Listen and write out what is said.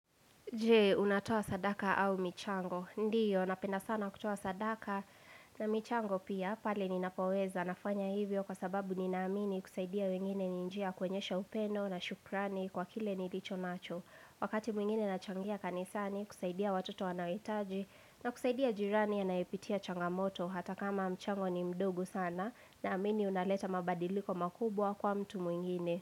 Je, unatoa sadaka au michango? Ndiyo, napenda sana kutoa sadaka na michango pia, pale ninapoweza nafanya hivyo kwa sababu ninaamini kusaidia wengine ni njia ya kuonyesha upendo na shukrani kwa kile nilicho nacho. Wakati mwingine nachangia kanisani, kusaidia watoto wanaohitaji na kusaidia jirani anayepitia changamoto hata kama mchango ni mdogo sana naamini unaleta mabadiliko makubwa kwa mtu mwingine.